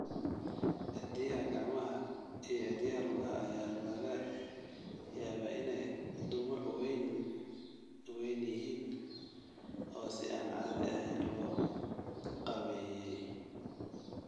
Cidiyaha gacmaha iyo cidiyaha lugaha ayaa laga yaabaa inay dhumuc weyn yihiin oo si aan caadi ahayn loo qaabeeyey.